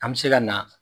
An bɛ se ka na